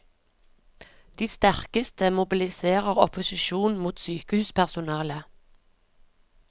De sterkeste mobiliserer opposisjon mot sykehuspersonalet.